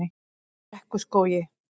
Brekkuskógi